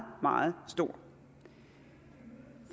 meget stor